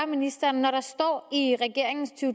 ministeren når der står i regeringens to